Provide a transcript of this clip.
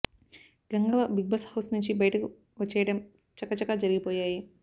Gangavva Bigg Boss house నుంచి బయటకు వచ్చేయడం చకా చకా జరిగిపోయాయి